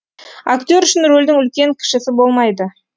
актер үшін рөлдің үлкен кішісі болмайды